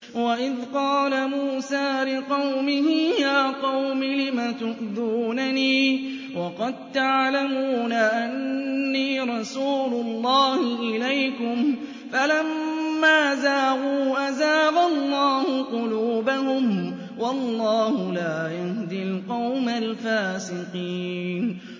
وَإِذْ قَالَ مُوسَىٰ لِقَوْمِهِ يَا قَوْمِ لِمَ تُؤْذُونَنِي وَقَد تَّعْلَمُونَ أَنِّي رَسُولُ اللَّهِ إِلَيْكُمْ ۖ فَلَمَّا زَاغُوا أَزَاغَ اللَّهُ قُلُوبَهُمْ ۚ وَاللَّهُ لَا يَهْدِي الْقَوْمَ الْفَاسِقِينَ